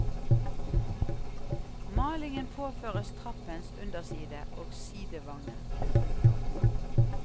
Malingen påføres trappens underside og sidevanger. punktum